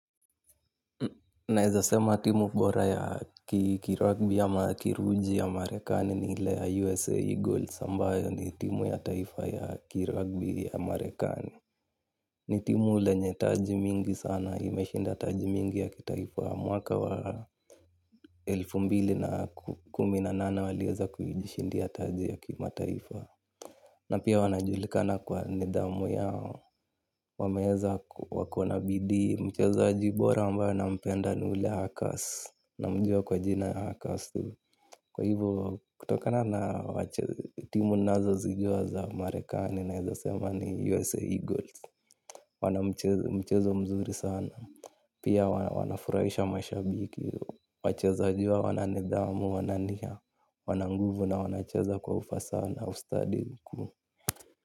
Naezasema timu bora ya ki rugby ama ya kiruji ya Marekani ni ile ya USA Eagles ambayo ni timu ya taifa ya ki rugby ya Marekani. Ni timu lenye taji mingi sana, imeshinda taji mingi ya kitaifa mwaka wa elfu mbili na kumi na nane waliweza kujishindia taji ya kimataifa. Na pia wanajulikana kwa nidhamu yao. Wameeza wakona bidii. Mchezaji bora ambaye nampenda ni ule Hakas. Namjua kwa jina ya Hakas tu, kwa hivyo kutoka na na timu ninazozijua za Merekani naweza sema ni USA Eagles wana mchezo mzuri sana. Pia wana furahisha mashabiki. Wachezani wao wana nidhamu, wana nia. Wana nguvu na wanacheza kwa ufasaha na ustadi mkuu.